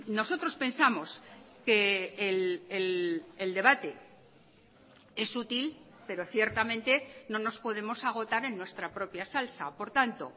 nosotros pensamos que el debate es útil pero ciertamente no nos podemos agotar en nuestra propia salsa por tanto